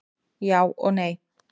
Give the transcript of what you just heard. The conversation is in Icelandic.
Já og nei.